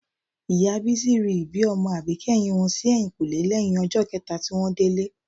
Ìyá Bísí ri ibi ọmọ àbíkẹ́yìn wọn sí ẹ̀yìnkùlẹ́ lẹ́yìn ọjọ́ kẹta tí wọ́n délé